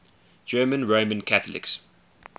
german roman catholics